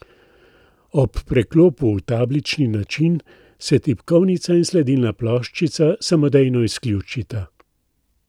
Ob preklopu v tablični način se tipkovnica in sledilna ploščica samodejno izključita.